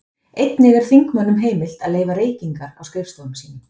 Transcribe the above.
Einnig er þingmönnum heimilt að leyfa reykingar á skrifstofum sínum.